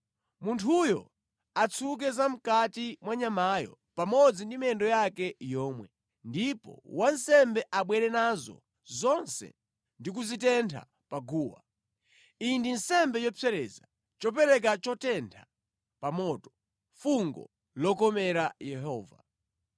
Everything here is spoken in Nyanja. Munthuyo atsuke zamʼkati mwa nyamayo pamodzi ndi miyendo yake yomwe, ndipo wansembe abwere nazo zonse ndi kuzitentha pa guwa. Iyi ndi nsembe yopsereza, chopereka chotentha pa moto, fungo lokomera Yehova.